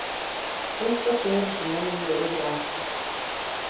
Eitthvað fer eins og logi yfir akur